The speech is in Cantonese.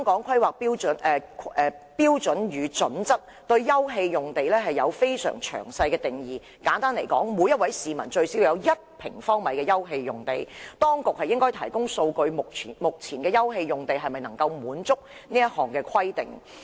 《規劃標準》對休憩用地有非常詳細的定義，簡單而言，每名市民最少要有1平方米的休憩用地。當局應該提供數據，說明目前的休憩用地是否能夠滿足這項規定。